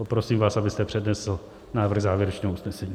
Poprosím vás, abyste přednesl návrh závěrečného usnesení.